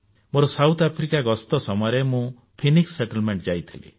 ମୋର ଦକ୍ଷିଣ ଆଫ୍ରିକା ଗସ୍ତ ସମୟରେ ମୁଁ ଫୋଏନିକ୍ସ ଆଶ୍ରମ ଯାଇଥିଲି